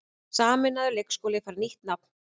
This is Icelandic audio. Sameinaður leikskóli fær nýtt nafn